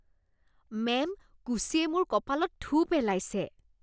Ma'am, কুশ্বিয়ে মোৰ কপালত থু পেলাইছে।